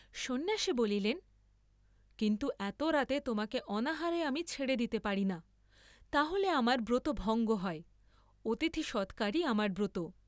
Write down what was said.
সন্ন্যাসী বলিলেন কিন্তু এত রাতে তোমাকে অনাহারে আমি ছেড়ে দিতে পারি না, তা’হলে আমার ব্রত ভঙ্গ হয়, অতিথি সৎকারই আমার ব্রত।